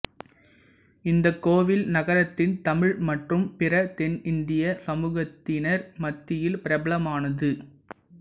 இந்த கோவில் நகரத்தின் தமிழ் மற்றும் பிற தென்னிந்திய சமூகத்தினர் மத்தியில் பிரபலமானது